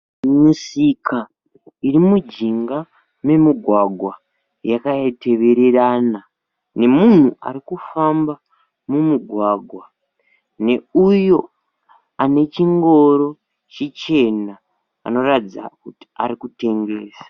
Misika irimujinga memugwagwa yakatevererana, nemunhu arikufamba mumugwagwa. Neuyo anechingoro chichena anoratidza kuti arikutengesa.